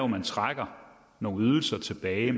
man trækker nogle ydelser tilbage